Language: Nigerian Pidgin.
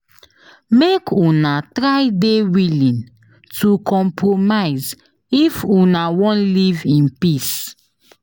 Make Una try de willing to compromise if Una won live in peace